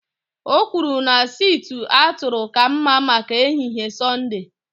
O kwuru na sịtịụ atụrụ ka mma maka ehihie Sọnde